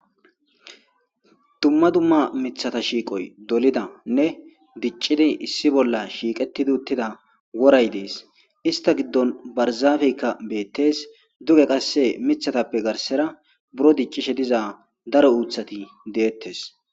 Dumma dumma miththata shiiqoy dolidane diccidi issi bolla shiiqetidi uttida woray dees ista giddon barzafeyka beettees duge qasse miththatape garsera buro diccishe diza daro uuththati dettees.